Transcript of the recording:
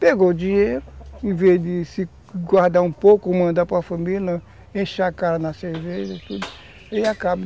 Pegou o dinheiro, em vez de se, guardar um pouco, mandar para a família, não, enche a cara na cerveja e tudo, aí acaba.